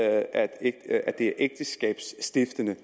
at det er ægteskabsstiftende